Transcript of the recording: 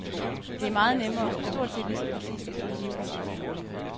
Det er meget nemmere og stort set lige så præcist at bruge livvidden til måling.